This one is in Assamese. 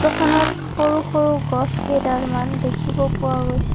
ফটো খনত সৰু সৰু গছ কেইডালমান দেখিব পোৱা গৈছে।